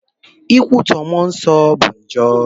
Ikwutọ Mụọ Nsọ bụ njọ.